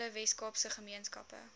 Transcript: alle weskaapse gemeenskappe